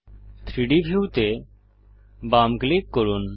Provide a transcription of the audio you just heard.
3ডি ভিউ তে বাম ক্লিক করুন